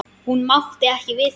Hún mátti ekki við þessu.